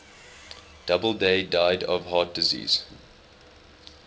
doubleday died of heart disease